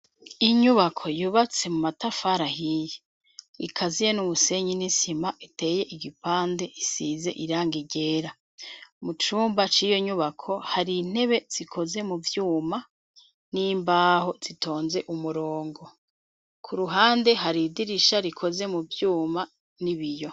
Inyubako yubatse mu matafari ahiye ikaziye n'umusenyi n'isima iteye igipande ,isize irangi ryera .Mu cumba c'iyo nyubako hari intebe zikoze mu vyuma n'imbaho zitonze umurongo ku ruhande hari idirisha rikoze mu vyuma n'ibiyo.